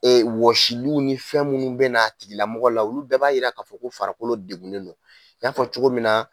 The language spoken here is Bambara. Ee wɔsiliw ni fɛn munnu be n'a tigilamɔgɔ la, olu bɛɛ b'a yira k'a fɔ ko farakolo degulen don .I y'a fɔ cogo min na